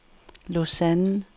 Lausanne